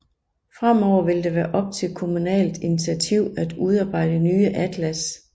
Fremover vil det være op til kommunalt initiativ at udarbejde nye atlas